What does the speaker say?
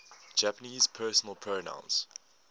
japanese personal pronouns